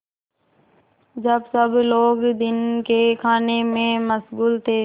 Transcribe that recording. जब सब लोग दिन के खाने में मशगूल थे